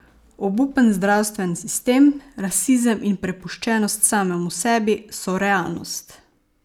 Obupen zdravstven sistem, rasizem in prepuščenost samemu sebi, so realnost.